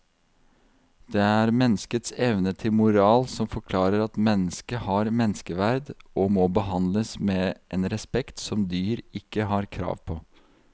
Det er menneskets evne til moral som forklarer at mennesket har menneskeverd og må behandles med en respekt som dyr ikke har krav på.